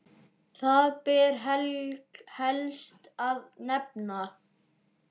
Þar ber helst að nefna